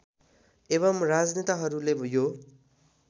एवं राजनेताहरूले यो